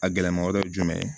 A gɛlɛma wɛrɛ ye jumɛn ye